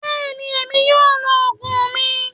Bẹ́ẹ̀ ni, èmi yóò lo òògùn mi